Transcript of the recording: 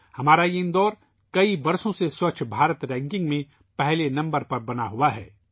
ہمارا اندور کئی سالوں سے ' سوچھ بھارت رینکنگ ' میں پہلے نمبر پر رہا ہے